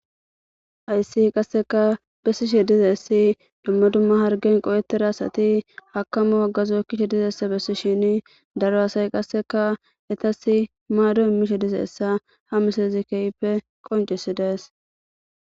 Haysse qassekka bessishe dizayssi dumma dumma harggen qohetida asati hakamo hagazo ekishe dizayssa besishinne daro asay qasseka ettassi maado immishe dizayssa ha misilezi keehippe qoccisidees